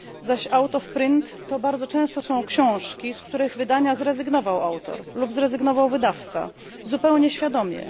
Zaś out of print to bardzo często są książki, z których wydania zrezygnował autor lub zrezygnował wydawca zupełnie świadomie.